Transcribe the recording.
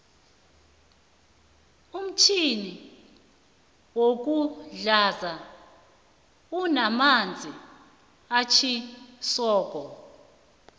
umfjhini woku hlanza unamanzi atjhisoko